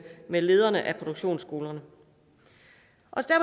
med lederne af produktionsskolerne